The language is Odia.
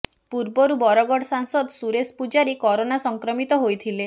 ପୂର୍ବରୁ ବରଗଡ ସାଂସଦ ସୁରେଶ ପୂଜାରୀ କରୋନା ସଂକ୍ରମିତ ହୋଇଥିଲେ